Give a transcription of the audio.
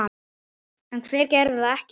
En hver gerði það ekki?